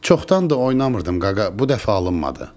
Çoxdandır oynamırdım qaqa, bu dəfə alınmadı.